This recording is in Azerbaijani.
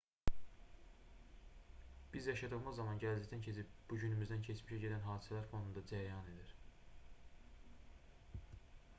biz yaşadığımız zaman gələcəkdən keçib bugünümüzdən keçmişə gedən hadisələr fonunda cərəyan edir